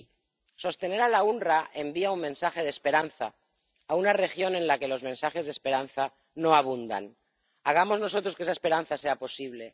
Y sostener al OOPS envía un mensaje de esperanza a una región en la que los mensajes de esperanza no abundan. Hagamos nosotros que esa esperanza sea posible